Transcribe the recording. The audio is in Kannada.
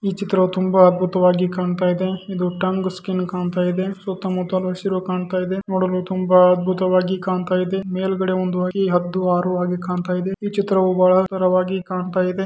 ಈ ಚಿತ್ರವು ತುಂಬಾ ಅದ್ಭುತವಾಗಿ ಕಾಣ್ತಾ ಇದೆ ಇದು ಟಾಂಗಾ ಸ್ಕಿನ್ ಕಾಣ್ತಾ ಇದೆ ಸುತ್ತಮುತ್ತಲು ಹಸಿರು ಕಾಣ್ತಾ ಇದೆ ನೋಡಲು ತುಂಬಾ ಅದ್ಭುತವಾಗಿ ಕಾಣ್ತಾ ಇದೆ ಕಾಣ್ತಾ ಮೇಲ್ಗಡೆ ಒಂದು ಐದು ಆರು ಹದ್ದು ಕಾಣ್ತಾ ಇದೆ ಇದ ಚಿತ್ರವು ಬಹಳ ಸುಂದರವಾಗಿ ಕಾಣ್ತಾ ಇದೆ.